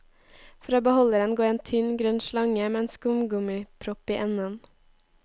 Fra beholderen går en tynn, grønn slange med en skumgummipropp i enden.